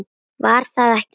Var það ekki!